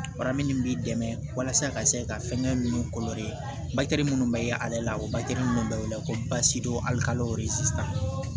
Warini min b'i dɛmɛ walasa a ka se ka fɛngɛ minnu minnu bɛ ale la o minnu bɛ wele ko